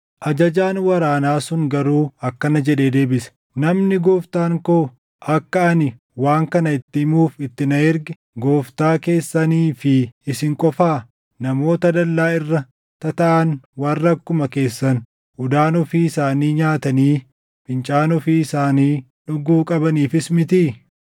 Ajajaan waraanaa sun garuu akkana jedhee deebise; “Namni gooftaan koo akka ani waan kana itti himuuf itti na erge gooftaa keessanii fi isin qofaa? Namoota dallaa irra tataaʼan warra akkuma keessan udaan ofii isaanii nyaatanii fincaan ofii isaanii dhuguu qabaniifis mitii?”